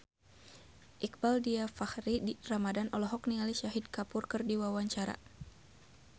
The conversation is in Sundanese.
Iqbaal Dhiafakhri Ramadhan olohok ningali Shahid Kapoor keur diwawancara